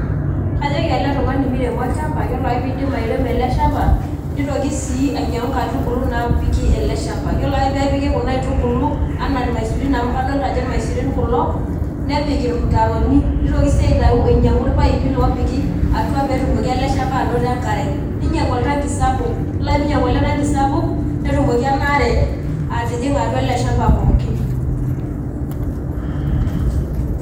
Kajoki ele tung'ani miremo olchamba ore ake pirem eleshamba nitoki si ainyangu nkaitubulu napik eleshamba, yiolo ake pepiki kuna aitubulu ana irmasurin amu kadolta ajo irmaisurin kulo nepik irmutaroni nitoki si aitau ainyangu irpaipi opiki atua petumoki eleshamba ainoto enkare ninyangu oltanki sapuk, yiolo ake pinyangu oltanki sapuk netumoki enaare atijinga atua eleshamba pookin .